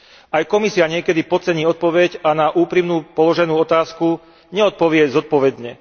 Aj Komisia niekedy podcení odpoveď a na úprimne položenú otázku neodpovie zodpovedne.